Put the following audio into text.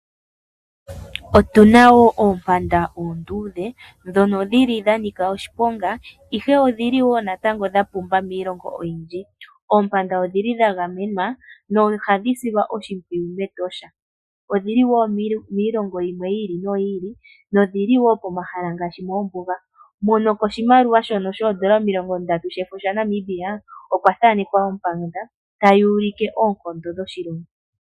Otu na oompanda oonduudhe, ndhono dhi li dha nika oshiponga, ihe odhi li wo natango dha pumba miilongo oyindji. Oompanda odhi li dha gamenwa, nohadhi silwa oshimpwiyu mEtosha. Odhi li wo miilongo yimwe yi ili noyi ili, nodhi li wo pomahala ngaashi moombuga. Nokoshimaliwa shono shoondolo omilongo ndatu shefo shaNamibia, okwa thaanekwa ompanda, tayi ulike oonkondo dhoshilimbo.